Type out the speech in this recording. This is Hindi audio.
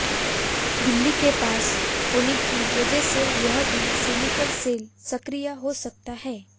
दिल्ली के पास होने की वजह से यहां भी स्लीपर सेल सक्रिय हो सकता है